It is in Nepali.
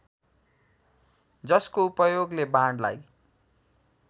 जसको उपयोगले बाणलाई